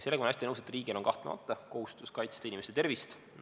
" Sellega ma olen hästi nõus, et riigil on kahtlemata kohustus kaitsta inimese tervist.